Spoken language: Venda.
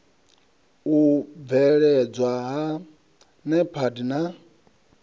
u mveledzwa ha nepad na